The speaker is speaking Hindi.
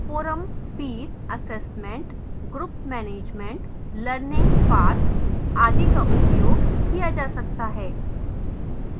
forums peer assessment group management learning paths आदि का उपयोग किया जा सकता है